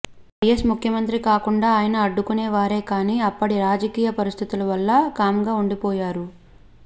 YS ముఖ్యమంత్రి కాకుండాఆయన అడ్డుకునే వారే కానీ అప్పటిరాజకీయ పరిస్ధితుల వల్ల కామ్గాఉండిపోయారు